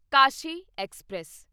Kashi express